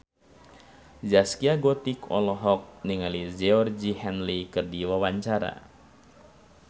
Zaskia Gotik olohok ningali Georgie Henley keur diwawancara